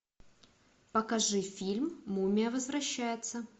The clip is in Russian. покажи фильм мумия возвращается